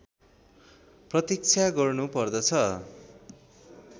प्रतीक्षा गर्नु पर्छ